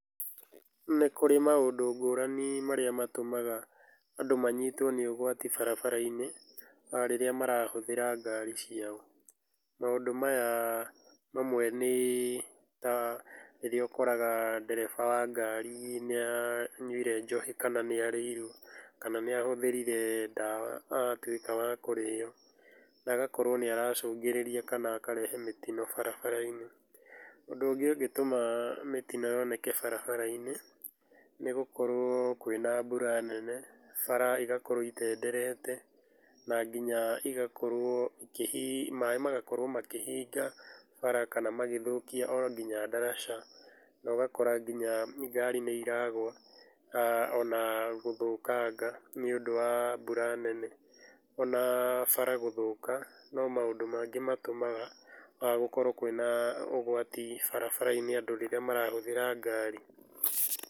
Nĩ kũrĩ maũndũ ngũrani marĩa matũmaga andũ manyitwo nĩ ũgwati barabara-inĩ rĩrĩa marahũthĩra ngari ciao. Maũndũ maya mamwe nĩ ta rĩrĩa ũkoraga ndereba wa ngari nĩ anyuĩre njohi, kana nĩ arĩirwo, kana nĩ ahũthĩrire ndawa atuĩka wa kũrĩyo na agakũrwo nĩ aracũngĩrĩria kana akarehe mĩtino barabara-inĩ. Ũndũ ũngĩ ũngĩtũma mĩtino yoneke barabara-inĩ nĩ gũkorwo kwĩna mbura nene bara ĩgakorwo ĩtenderete, na nginya ĩgakorwo maĩ magakorwo makĩhĩnga bara kana magĩthũkĩa onginya ndaraca, na ũgakora nginya ngari nĩ ĩragwa, ona gũthũkanga nĩ ũndũ wa mbura nene. Ona bara gũthũka no maũndũ mangĩ matũmaga gũkorwo kwĩna ũgwati barabara-inĩ andũ rĩrĩa marahũthĩra ngari.